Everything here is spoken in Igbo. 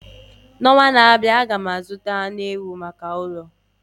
N'ọnwa na-abịa, aga m azụta anụ ewu maka ụlọ